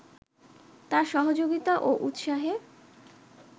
তার সহযোগিতা ও উৎসাহে